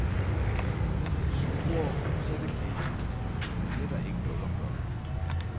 Hvis de er sure, så er det kedeligt, men det er der ikke noget at gøre ved.